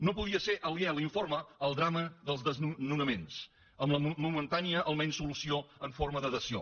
no podria ser aliè a l’informe el drama dels desnonaments amb la momentània almenys solució en forma de dació